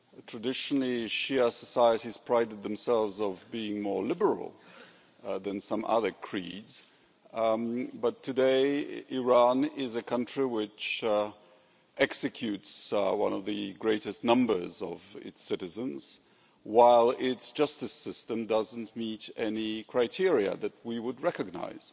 Traditionally Shia societies prided themselves on being more liberal than some other creeds, but today Iran is a country which executes one of the greatest numbers of its citizens, while its justice system doesn't meet any criteria that we would recognise.